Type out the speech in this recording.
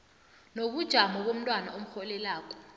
nobujamo bomntwana omrholelako